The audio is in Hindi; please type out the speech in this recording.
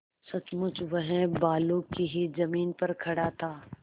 सचमुच वह बालू की ही जमीन पर खड़ा था